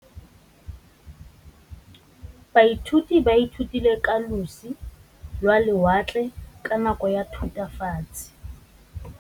Baithuti ba ithutile ka losi lwa lewatle ka nako ya Thutafatshe.